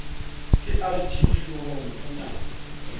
ke rg hlohong o na